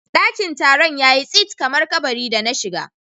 Daƙin Taron yayi tsit kamar kaɓari da na shiga.